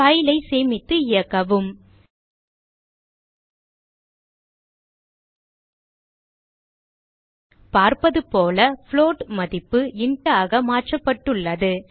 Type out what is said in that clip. file ஐ சேமித்து இயக்கவும் பார்ப்பது போல புளோட் மதிப்பு int ஆக மாற்றப்பட்டுள்ளது